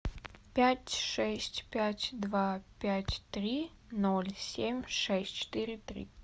пять шесть пять два пять три ноль семь шесть четыре три